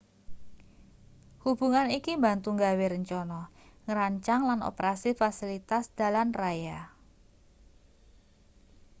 hubungan iki mbantu gawe rencana ngrancang lan operasi fasilitas dalan raya